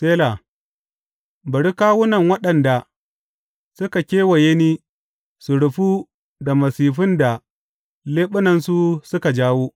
Sela Bari kawunan waɗanda suka kewaye ni su rufu da masifun da leɓunansu suka jawo.